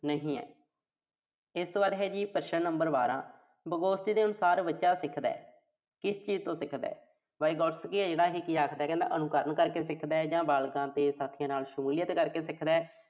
ਨਹੀਂ ਐ। ਇਸ ਤੋਂ ਬਾਅਦ ਹੈ ਜੀ ਪ੍ਰਸ਼ਨ number ਬਾਰ੍ਹਾਂ। Vygotsky ਦੇ ਅਨੁਸਾਰ ਬੱਚਾ ਸਿੱਖਦਾ। ਕਿਸ ਚੀਜ਼ ਤੋਂ ਸਿਖਦਾ। Vygotsky ਆ ਜਿਹੜਾ ਇਹੇ ਕੀ ਆਖਦਾ, ਕਹਿੰਦਾ ਅਨੁਕਰਨ ਕਰਕੇ ਸਿੱਖਦਾ ਜਾਂ ਬਾਲਗਾਂ ਤੇ ਸਾਥੀਆਂ ਨਾਲ ਸ਼ਮੂਲੀਅਤ ਕਰਕੇ ਸਿੱਖਦਾ।